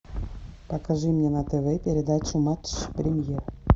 покажи мне на тв передачу матч премьер